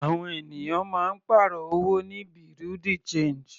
Àwọn ènìyàn máa ń pàrọ̀ owó ní bureau de change.